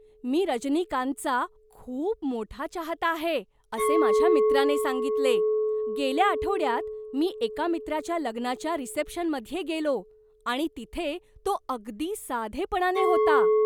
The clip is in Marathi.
मी रजनीकांतचा खूप मोठा चाहता आहे असे माझ्या मित्राने सांगितले. "गेल्या आठवड्यात, मी एका मित्राच्या लग्नाच्या रिसेप्शनमध्ये गेलो आणि तिथे तो अगदी साधेपणाने होता!"